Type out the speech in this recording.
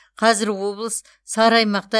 қазір облыс сары аймақта